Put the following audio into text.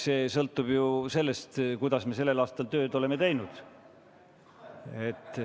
See sõltub sellest, kuidas me sel aastal tööd oleme teinud.